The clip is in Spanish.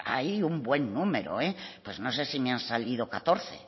hay un buen numero pues no sé si me han salido catorce